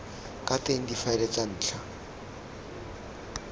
ka teng difaele tsa ntlha